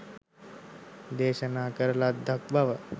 දේශනා කරන ලද්දක් බව